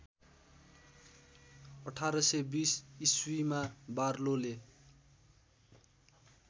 १८२० ईस्वीमा बार्लोले